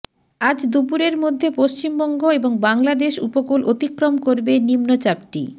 আজ দুপুরের মধ্যে পশ্চিমবঙ্গ এবং বাংলাদেশ উপকূল অতিক্রম করবে নিম্নচাপটি